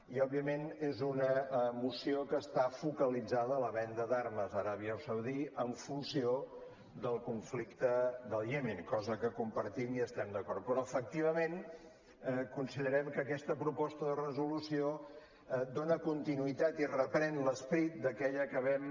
i òbviament és una moció que està focalitzada a la venda d’armes a aràbia saudita en funció del conflicte del iemen cosa que compartim i hi estem d’acord però efectivament considerem que aquesta proposta de resolució dona continuïtat i reprèn l’esperit d’aquella que vam